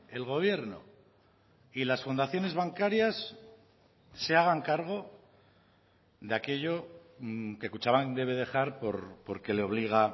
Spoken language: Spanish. el gobierno y las fundaciones bancarias se hagan cargo de aquello que kutxabank debe dejar porque le obliga